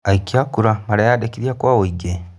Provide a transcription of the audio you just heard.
Aikia a kura nĩ mareyandĩkithia kwa ũingĩ?